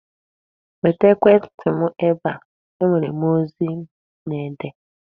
Weta ekwentị m ebe a. E nwere ozi m na-ede!